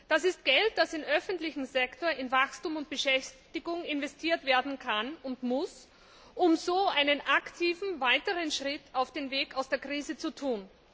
Das ist Geld, das im öffentlichen Sektor in Wachstum und Beschäftigung investiert werden kann und muss, um so einen aktiven weiteren Schritt auf dem Weg aus der Krise zu tun.